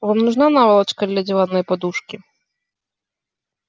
вам нужна наволочка для диванной подушки